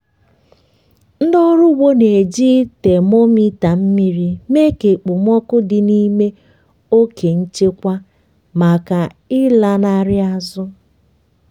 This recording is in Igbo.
ndị ọrụ ugbo na-eji temometa mmiri mee ka okpomọkụ dị n'ime oke nchekwa maka ịlanarị azụ.